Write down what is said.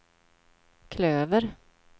klöver